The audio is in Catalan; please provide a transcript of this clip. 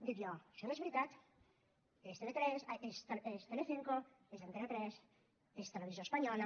dic jo això no és veritat és telecinco és antena tres és televisió espanyola